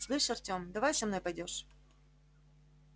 слышь артём давай со мной пойдёшь